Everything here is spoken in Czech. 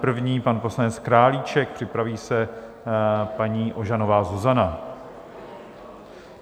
První pan poslanec Králíček, připraví se paní Ožanová Zuzana.